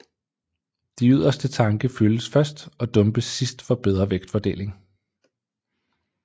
De yderste tanke fyldes først og dumpes sidst for bedre vægtfordeling